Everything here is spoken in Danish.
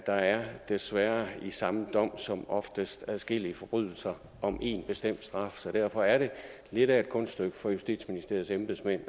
der er desværre i samme dom som oftest adskillige forbrydelser om en bestemt straf så derfor er det lidt af et kunststykke for justitsministeriets embedsmænd